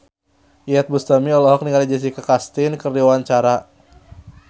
Iyeth Bustami olohok ningali Jessica Chastain keur diwawancara